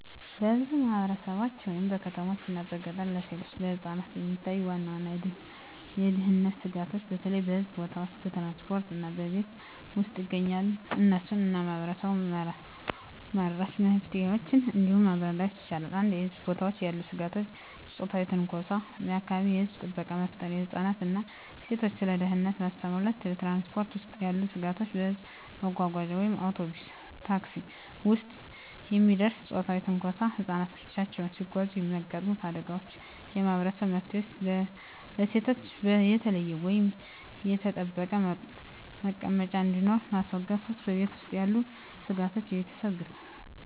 በብዙ ማህበረሰቦች (በከተሞችና በገጠር) ለሴቶችና ለህፃናት የሚታዩ ዋና የደህንነት ስጋቶች በተለይ በህዝብ ቦታዎች፣ በትራንስፖርት እና በቤት ውስጥ ይገኛሉ። እነሱን እና ማህበረሰብ-መራሽ መፍትሄዎችን እንዲህ ማብራር ይቻላል፦ 1. በህዝብ ቦታዎች ያሉ ስጋቶች የጾታዊ ትንኮሳ የአካባቢ የህዝብ ጥበቃ መፍጠር ህፃናትን እና ሴቶችን ስለ ደህንነት ማስተማር 2. በትራንስፖርት ውስጥ ያሉ ስጋቶች በህዝብ መጓጓዣ (አውቶቡስ፣ ታክሲ) ውስጥ የሚደርስ ጾታዊ ትንኮሳ ህፃናት ብቻቸውን ሲጓዙ የሚያጋጥሙ አደጋዎች የማህበረሰብ መፍትሄዎች ለሴቶች የተለየ ወይም የተጠበቀ መቀመጫ እንዲኖር ማስገደድ 3. በቤት ውስጥ ያሉ ስጋቶች የቤተሰብ ግፍ